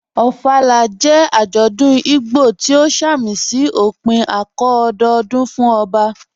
Ofala jẹ́ ajọ́dún Ìgbò tí o sàmísí ọ̀pìn ạ̀kọ̀ọ̀ ọ̀dọọ̀dún fún ọbà